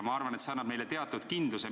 Ma arvan, et see annab neile teatud kindluse.